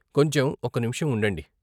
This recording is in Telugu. కొంచెం ఒక్క నిమిషం ఉండండి.